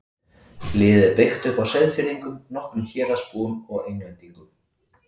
Liðið er byggt upp á Seyðfirðingum, nokkrum Héraðsbúum og Englendingum.